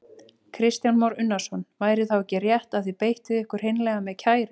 Kristján Már Unnarsson: Væri þá ekki rétt að þið beittuð ykkur hreinlega með kæru?